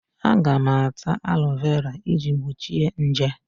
Aga m ata alọvera iji gbochie nje.